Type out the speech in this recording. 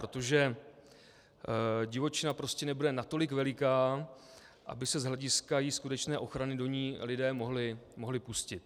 Protože divočina prostě nebude natolik veliká, aby se z hlediska její skutečné ochrany do ní lidé mohli pustit.